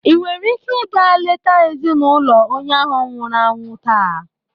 Ị nwere ike ịga leta ezinụlọ onye ahu nwụrụ anwụ taa.